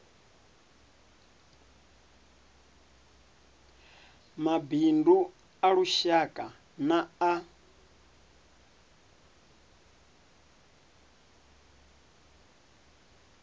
mabindu a lushaka na a